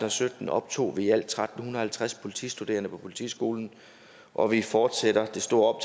og sytten optog vi i alt tretten halvtreds politistuderende på politiskolen og vi fortsætter det store